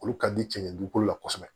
Olu ka di cɛn dugukolo la kosɛbɛ